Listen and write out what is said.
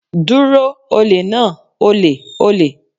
Dúró olè náà!olè!olè!